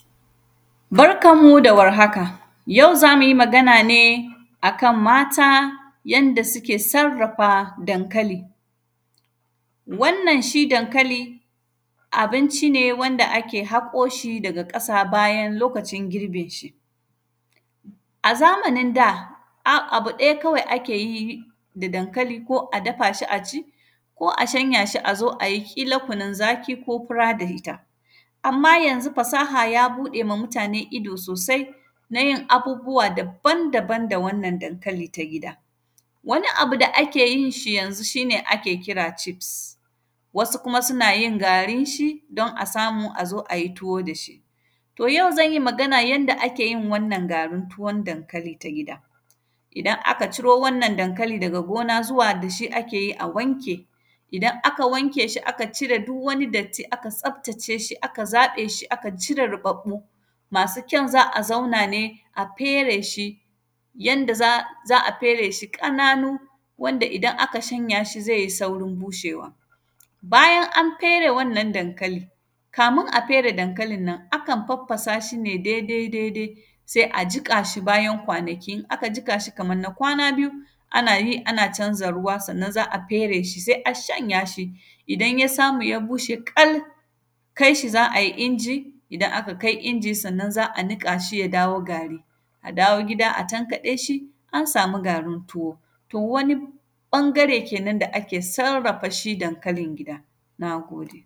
Barkan mu da warhaka, yau za mu yi magana ne a kan mata, yanda sike sarrafa dankali. Wannan, shi dankali, abinci ne wanda ake haƙo shi daga ƙasa bayan lokacin girbinshi. A zamanin da, a; abu ɗaya kawai ake yi da dankali, ko a dafa shi a ci ko shanya shi a zo a yi ƙila kunin zaki ko fura da ita. Amma, yanzu fasaha ya buɗe ma mutane ido sosai, na yin abubuwa daban-daban da wannan dankali ta gida. Wani abu da ake yin shi yanzu, shi ne ake kira “cheeps”, wasu kuma sina yin garinshi, don a samu a zo a yi tuwo da shi. To, yau zan yi magan yanda ake yin wannan garin tuwon dankali ta gida. Idan aka ciro wannan dankali daga gona zuwa da shi ake yi a wanke. Idan aka wanke shi, aka cire duk wani datti, aka tsaftace shi, aka zaƃe shi, aka cire ruƃaƃƃu, masu kyan, za a zauna ne, a fere shi yanda za, za a fere shi ƙananu, wanda idan aka shanya shi, zai yi saurin bushewa. Bayan an fere wannan dankali, kamin a fere dankalin nan, akan faffasa shi ne dedai-dede. Se a jiƙa shi, bayan kwanaki, in aka jika shi kaman na kwana biyu, ana yi ana canza ruwa, sannan za a fere shi, se a shanya. Idan ya samu ya bushe ƙal, kais hi za ai inji, idan aka kai inji, sanna za a niƙa shi ya dawo gari. A dawo gida a tankaɗe shi, an sami garin tuwo, to wani ƃangare kenan da ake sarrafa shi dankalin gida, na gode.